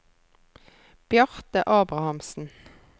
Bjarte Abrahamsen